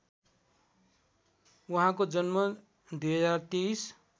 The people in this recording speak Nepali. उहाँको जन्म २०२३